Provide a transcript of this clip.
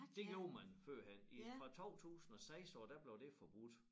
Det gjorde man førhen i fra 2006 af der blev det forbudt